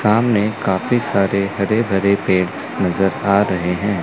सामने काफी सारे हरे भरे पेड़ नज़र आ रहे हैं।